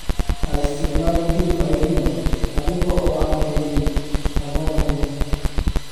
Ha isticmaalin hilib cayriin adiga oo aan kaydin habboon lahayn.